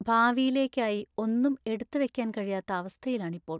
ഭാവിയിലേക്കായി ഒന്നും എടുത്ത് വെക്കാൻ കഴിയാത്ത അവസ്ഥയിലാണ് ഇപ്പോൾ.